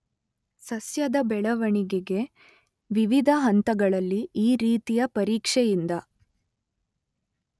ಸಸ್ಯದ ಬೆಳೆವಣಿಗೆಗೆ ವಿವಿಧ ಹಂತಗಳಲ್ಲಿ ಈ ರೀತಿಯ ಪರೀಕ್ಷೆಯಿಂದ